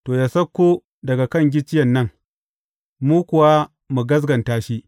To, yă sauko daga kan gicciyen nan, mu kuwa mu gaskata shi.